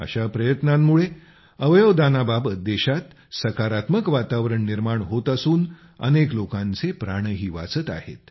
अशा प्रयत्नांमुळे अवयवदानाबाबत देशात सकारात्मक वातावरण निर्माण होत असून अनेक लोकांचे प्राणही वाचत आहेत